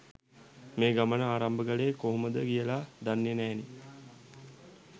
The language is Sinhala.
මේ ගමන ආරම්භ කළේ කොහොමද කියලා දන්නෙ නැහැනෙ.